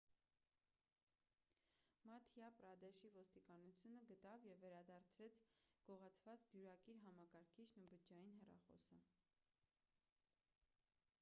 մադհյա պրադեշի ոստիկանությունը գտավ ու վերադարձրեց գողացված դյուրակիր համակարգիչն ու բջջային հեռախոսը